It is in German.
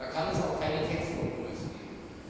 Da kann es auch keine Textkompromisse geben.